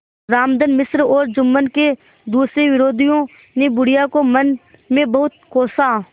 रामधन मिश्र और जुम्मन के दूसरे विरोधियों ने बुढ़िया को मन में बहुत कोसा